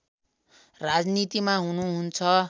राजनीतिमा हुनुहुन्छ